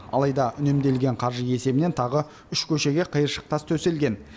алайда үнемделген қаржы есебінен тағы үш көшеге қиыршық тас төселген